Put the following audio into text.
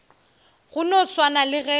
go no swana le ge